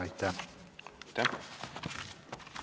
Aitäh!